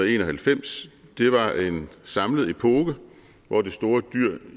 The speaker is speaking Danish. en og halvfems var en samlet epoke hvor det store dyr